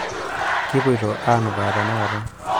kipoito aanukaa tenakata